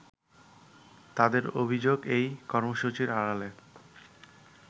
তাদের অভিযোগ এই কর্মসূচির আড়ালে